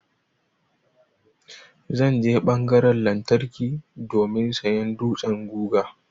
Zan je ɓangaran lantarki domin sayan dutsan guga.